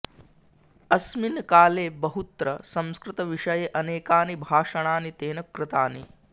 अस्मिन् काले बहुत्र संस्कृतविषये अनेकानि भाषणानि तेन कृतानि